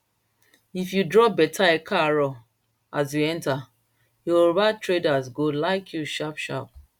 if you drop better ekaaro as you enter yoruba traders go like you sharp sharp